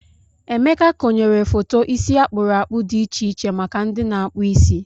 Emeka konyere foto isi akpụrụ akpụ dị iche iche maka ndị na-akpụ isi.